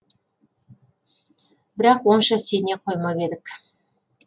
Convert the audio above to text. бірақ онша сене қоймап едік